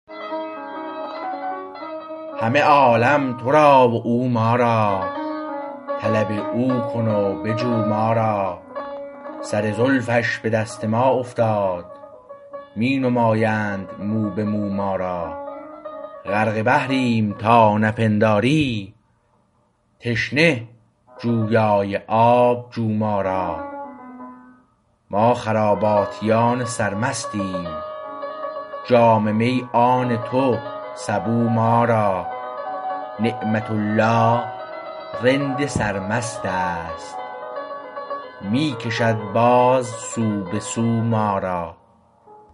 همه عالم تو را و او ما را طلب او کن و بجو ما را سر زلفش به دست ما افتاد می نمایند مو به مو ما را غرق بحریم تا نپنداری تشنه جویای آب جو ما را ما خراباتیان سر مستیم جام می آن تو سبو ما را نعمت الله رند سرمست است می کشد باز سو به سو ما را